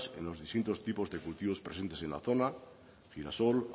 en los distintos tipos de cultivos presentes en la zona girasol